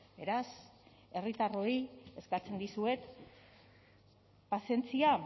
beraz herritarroi eskatzen dizuet pazientzia